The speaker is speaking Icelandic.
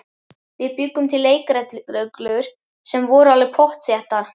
Við bjuggum til leikreglur sem voru alveg pottþéttar.